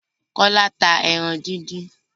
Kọ́lá ta ẹran díndín.